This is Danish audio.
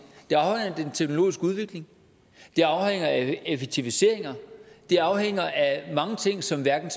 det den teknologiske udvikling det afhænger af effektiviseringer det afhænger af mange ting som hverken